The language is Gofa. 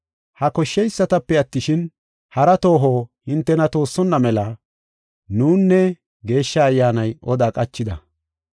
“Ha koshsheysatape attishin, hara tooho hintena toossonna mela nunne Geeshsha Ayyaanay oda qachida.